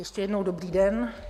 Ještě jednou dobrý den.